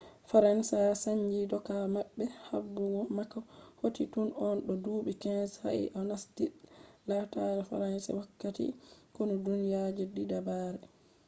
faransa sannji dooka mabbe. habdugo mako hoti tun o do dubi 15 sa'e o nasti lettare faransa wakkati konu duniya je diddabre